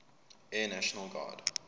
air national guard